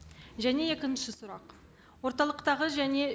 және екінші сұрақ орталықтағы және